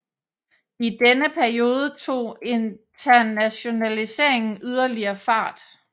I denne periode tog internationaliseringen yderligere fart